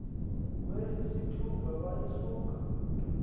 kwesi sithuba wayesuka